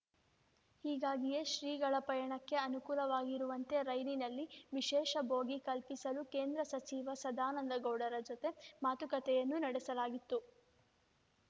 ಹೀಗಾಗಿಯೇ ಶ್ರೀಗಳ ಪಯಣಕ್ಕೆ ಅನುಕೂಲವಾಗಿರುವಂತೆ ರೈಲಿನಲ್ಲಿ ವಿಶೇಷ ಬೋಗಿ ಕಲ್ಪಿಸಲು ಕೇಂದ್ರ ಸಚಿವ ಸದಾನಂದಗೌಡರ ಜೊತೆ ಮಾತುಕತೆಯನ್ನೂ ನಡೆಸಲಾಗಿತ್ತು